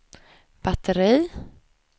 batteri